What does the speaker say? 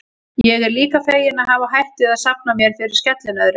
Ég er líka feginn að hafa hætt við að safna mér fyrir skellinöðru.